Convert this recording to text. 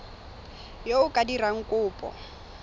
yo o ka dirang kopo